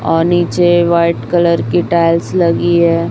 और नीचे white colour की टाइल्स लगी है।